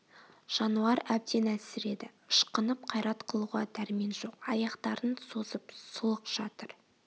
жануар әбден әлсред ышқынып қайрат қылуға дәрмен жоқ аяқтарын созып сұлық жатыр